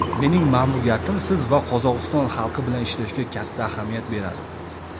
mening ma’muriyatim siz va Qozog‘iston xalqi bilan ishlashga katta ahamiyat beradi.